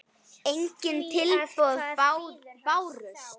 Engin tilboð bárust.